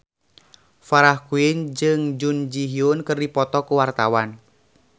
Farah Quinn jeung Jun Ji Hyun keur dipoto ku wartawan